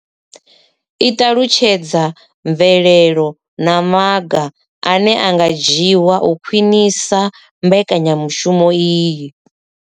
I ṱalutshedza mvelelo na maga ane a nga dzhiwa u khwinisa mbekanyamushumo iyi.